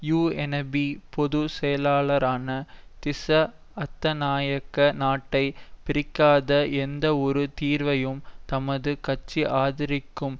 UNP பொது செயலாளரான திஸ்ஸ அத்தநாயக்க நாட்டை பிரிக்காத எந்தவொரு தீர்வையும் தமது கட்சி ஆதரிக்கும்